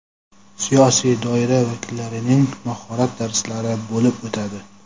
siyosiy doira vakillarining mahorat darslari bo‘lib o‘tadi.